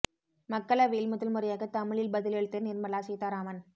மக்களவையில் முதல் முறையாக தமிழில் பதில் அளித்த நிர்மலா சீதாராமன்